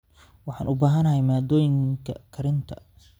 Waxaan u baahanahay maaddooyinka karinta.